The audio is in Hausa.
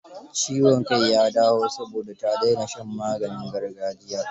Ciwon kai ya dawo, saboda ta dena shan maganin gargajiyar.